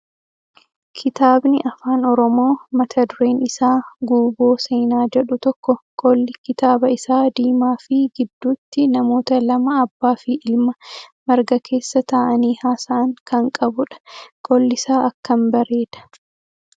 Kitaabni afaan oromoo mata dureen isaa Guuboo seenaa jedhu tokko qolli kitaaba isaa diimaa fi gidduutti namoota lama abbaa fi ilma marga keessa taa'anii haasa'an kan qabudha. Qollisaa akkam bareeda.